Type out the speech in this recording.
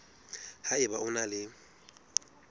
ha eba o na le